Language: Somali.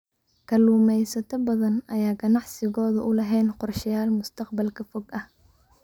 Kalluumaysato badan ayaan ganacsigooda u lahayn qorshayaal mustaqbalka fog ah.